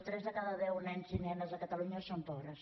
tres de cada deu nens i nenes a catalunya són pobres